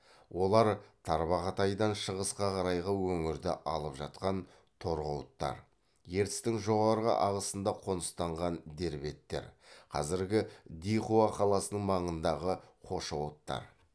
олар тарбағатайдан шығысқа қарайғы өңірді алып жатқан торғауыттар ертістің жоғары ағысында қоныстанған дербеттер қазіргі дихуа қаласының маңындағы хошауыттар